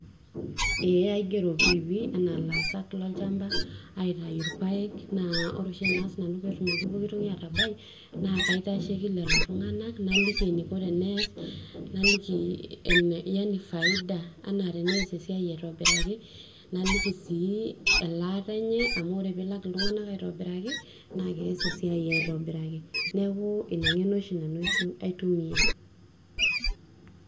Eeh aigero piipii anaa laasak lolchamba aun irpaek ajo naa sinanu petumoki atabai na kaitasheki lolotunganak naliki eniko teneas, naliki yani faidia teneas esiai aitobiraki, naliki sii elaata enye ,amu peilak ltunganak aitobiraki na keas esiai aitobiraki, neaku inangeno oshi nanu aitumia.